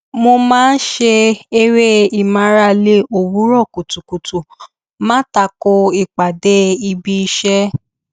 mo máa ṣe eré ìmárale òwúrọ kùtùkùtù má tako ìpàdé ibi iṣẹ